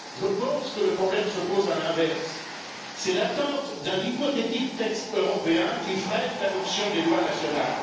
Je pense que le problème se pose à l'inverse c'est l'attente d'un hypothétique texte européen qui freine l'adoption des lois nationales.